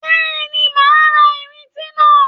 Bẹ́ẹ̀ni, màá ra ìrintí náà.